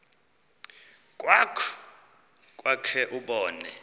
krwaqu kwakhe ubone